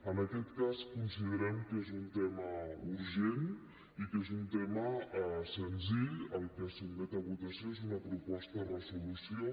en aquest cas considerem que és un tema urgent i que és un tema senzill el que es sotmet a votació és una proposta de resolució